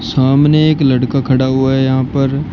सामने एक लड़का खड़ा हुआ है यहां पर।